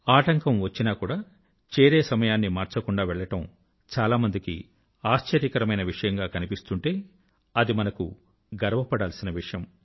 ఆటంకం వచ్చినా కూడా చేరే సమయాన్ని మార్చకుండా వెళ్ళడం చాలా మందికి ఆశ్చర్యకరమైన విషయంగా కనిపిస్తుంటే అది మనకు గర్వపడాల్సిన విషయం